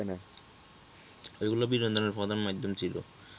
এইগুলা বিনোদনের প্রধান মাধ্যম ছিল